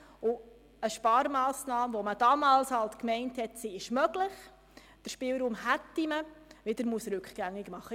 Eine Sparmassnahme, von welcher man damals dachte, sie sei möglich, weil man den Spielraum hatte, muss rückgängig gemacht werden.